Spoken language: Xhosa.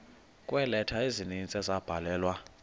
kweeleta ezininzi ezabhalelwa